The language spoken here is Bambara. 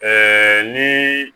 ni